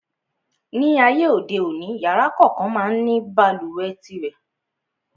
Ní ayé òde òní, yàrá kòókan má ń ní balùwẹ̀ tirẹ̀.